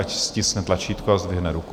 Ať stiskne tlačítko a zdvihne ruku.